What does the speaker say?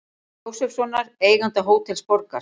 Jósefssonar, eiganda Hótels Borgar.